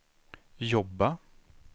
jobba